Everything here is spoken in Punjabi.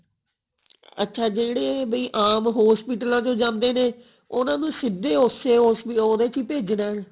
ਅੱਛਾ ਜਿਹੜੇ ਵੀ ਆਮ hospital ਆਂ ਚ ਜਾਂਦੇ ਨੇ ਉਹਨਾਂ ਨੂੰ ਸਿਧੇ ਉਸੇ hospital ਉਹਦੇ ਚ ਹੀ ਭੇਜਣਾ